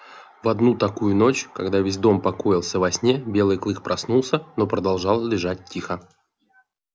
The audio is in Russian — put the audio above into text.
в одну такую ночь когда весь дом покоился во сне белый клык проснулся но продолжал лежать тихо